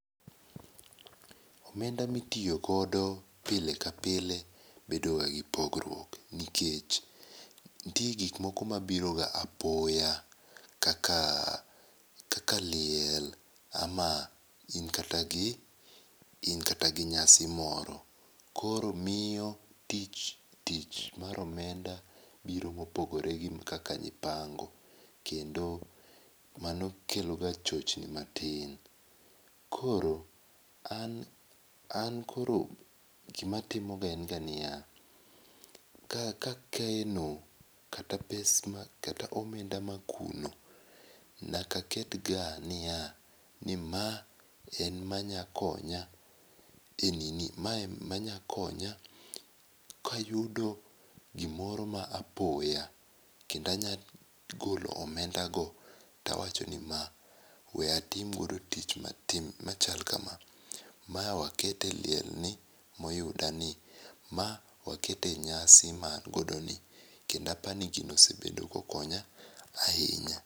Omenda mi itoyo godo pile ka pile bedo ga gi pogruok ,nikech nitie gik ma biro ga apoya kaka liel ama in kata gi in kata gi nyasi moro koro miyo tich mar omenda biro ma opogore gi kaka ne ipango kendo mano kelo ga chochni ma tin. Koro an koro gi ma atim o ga en ga ni ya, ka akeno kata pesa kata omenda ma akuno nyaka aket ga ni ya, ma en ma nya konya e nini ma en ma nya konya ka ayudo gi moro ma apoya kendo anya golo omenda go to awacho ni ma we atim go gi tich ma chalo ka ma, ma we aket liel ni ma oyuda ni, ma we aket e nyasi ma na godo ni, kendo apa ni gino osebedo ka okonya ahinya.